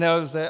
Nelze.